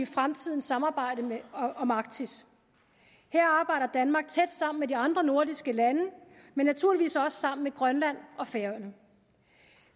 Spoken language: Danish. fremtidens samarbejde om arktis her arbejder danmark tæt sammen med de andre nordiske lande og naturligvis også sammen med grønland og færøerne